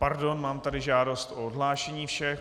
Pardon, mám tady žádost o odhlášení všech.